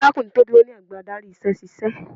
Arákùnrin tó dúró ní ẹ̀gbẹ́ adarí iṣẹ́ ṣíṣe.